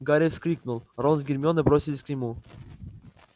гарри вскрикнул рон с гермионой бросились к нему